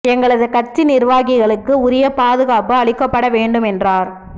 எங்களது கட்சி நிா்வாகிகளுக்கு உரிய பாதுகாப்பு அளிக்கப்பட வேண்டும் என்றாா்